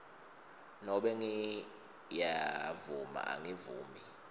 nobe ngiyavuma angivumi